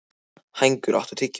Hængur, áttu tyggjó?